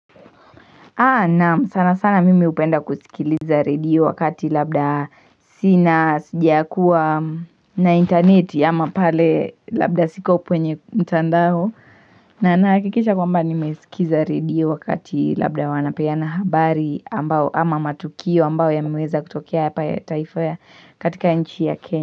Naam sana sana mimi hupenda kusikiliza redio wakati labda sina sija kuwa na interneti ama pale labda siko upwenye mtandao na naakikisha kwamba ni mesikiza redio wakati labda wanapeana habari ama matukio ambao yameweza kutokea taifa ya katika nchi ya kenya.